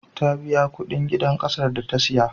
Ta biya kuɗin gidan ƙasar da ta saya.